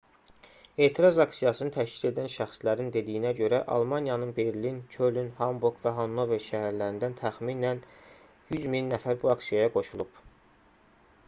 etiraz aksiyasını təşkil edən şəxslərin dediyinə görə almaniyanın berlin köln hamburq və hannover şəhərlərindən təxminən 100000 nəfər bu aksiyaya qoşulub